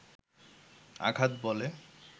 আঘাত বলে